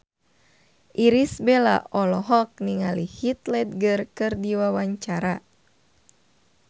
Irish Bella olohok ningali Heath Ledger keur diwawancara